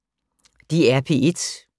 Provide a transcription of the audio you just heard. DR P1